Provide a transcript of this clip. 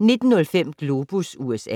19:05: Globus USA